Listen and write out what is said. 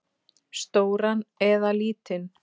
Stóran eða lítinn?